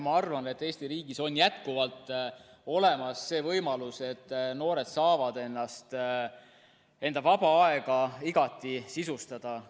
Ma arvan, et Eesti riigis on jätkuvalt olemas võimalus, et noored saavad enda vaba aega igati sisustada.